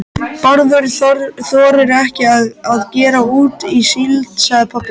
Bárður þorir ekki að gera út á síld, sagði pabbi.